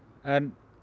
en